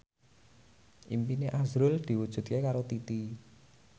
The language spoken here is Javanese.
impine azrul diwujudke karo Titi